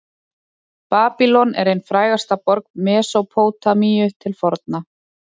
babýlon er ein frægasta borg mesópótamíu til forna